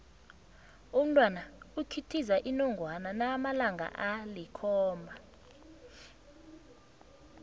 umntwana ikhithiza inongwana nakanamalanga alikhomba